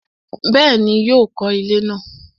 Bẹ́ẹ̀ni, yóò kọ ilẹ́ náà